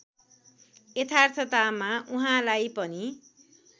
यथार्थतामा उहाँलाई पनि